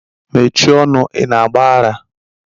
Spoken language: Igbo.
Mechie ọnụ, ị na-agba ara?